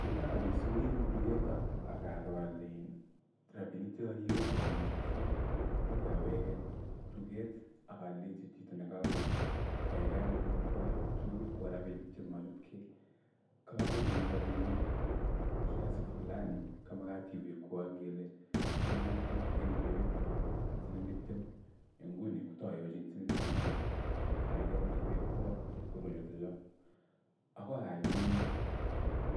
Ngo taal kipsongikeng duket ak aroo alein robinik che kakiwekwo komachutgei kwa agoi awege duget agaleji chito nekaaldai kagai kewekwo robishek che mojutgei. Kakagonin robinik kiasi fulani kamagat iwekwo ngele siling artam lakini kewekwo siling tiptem. Nguno kotayojin siling tiptem kagai iwekwo chepkondo chotojoo. Agoi ayai kuni